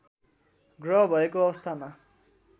ग्रह भएको अवस्थामा